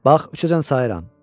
Bax üçəcən sayıram.